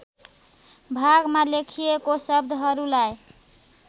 भागमा लेखिएको शब्दहरूलाई